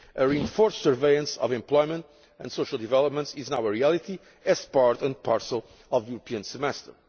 A reinforced surveillance of employment and social developments is now a reality as part and parcel of the European Semester.